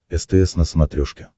стс на смотрешке